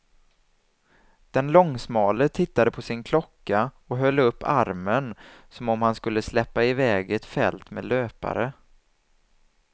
Den långsmale tittade på sin klocka och höll upp armen som om han skulle släppa i väg ett fält med löpare.